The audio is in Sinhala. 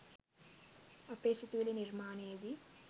අපේ සිතුවිලි නිර්මාණයේදී